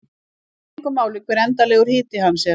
Það skiptir engu máli hver endanlegur hiti hans er.